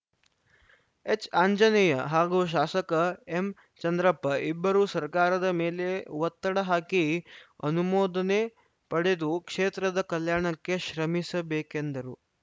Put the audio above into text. ಎಚ್‌ಆಂಜನೇಯ ಹಾಗೂ ಶಾಸಕ ಎಂಚಂದ್ರಪ್ಪ ಇಬ್ಬರೂ ಸರ್ಕಾರದ ಮೇಲೆ ಒತ್ತಡ ಹಾಕಿ ಅನುಮೋದನೆ ಪಡೆದು ಕ್ಷೇತ್ರದ ಕಲ್ಯಾಣಕ್ಕೆ ಶ್ರಮಿಸಬೇಕೆಂದರು